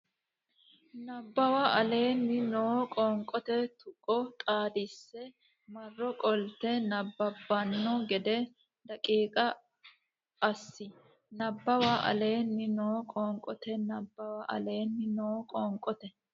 Nabbawa aleenni noo qoonqote tuqqo xaadisse marro qoltanni nabbabbanno gede daqiiqa assi Nabbawa aleenni noo qoonqote Nabbawa aleenni noo qoonqote.